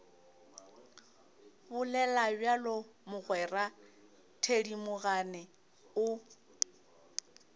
bolela bjalo mogwera thedimogane o